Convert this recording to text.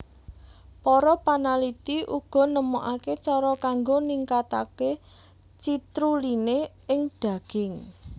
Para panaliti uga nemokaké cara kanggo ningkataké citruline ing daging